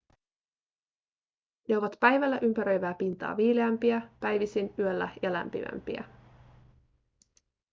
ne ovat päivällä ympäröivää pintaa viileämpiä päivisin yöllä ja lämpimämpiä